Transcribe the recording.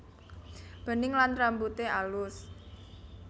Bening lan rambute alus